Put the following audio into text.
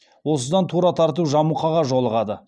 осыдан тура тартып жамұқаға жолығады